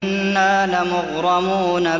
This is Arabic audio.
إِنَّا لَمُغْرَمُونَ